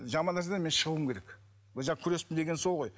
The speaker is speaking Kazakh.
жаман нәрседен мен шығуым керек мен жаңағы күрестім дегенім сол ғой